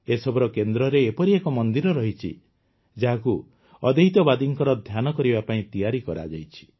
ଏସବୁର କେନ୍ଦ୍ରରେ ଏପରି ଏକ ମନ୍ଦିର ମଧ୍ୟ ରହିଛି ଯାହାକୁ ଅଦ୍ୱୈତବାଦୀଙ୍କ ଧ୍ୟାନ କରିବା ପାଇଁ ତିଆରି କରାଯାଇଛି